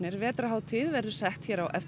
vetrarhátíð verður sett á eftir